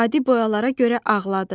Adi boyalara görə ağladı.